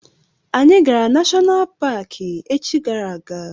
Anyị gara nashonal paki echi gara aga.